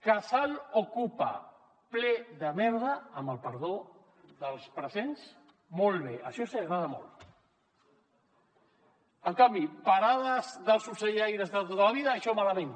casal okupa ple de merda amb el perdó dels presents molt bé això els hi agrada molt en canvi parades dels ocellaires de tota la vida això malament